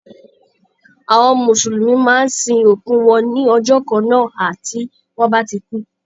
Àwọn mùsùlùmí máa ń sin òkú wọn ní ọjọ́ kan na hà tí wọ́n bá kú.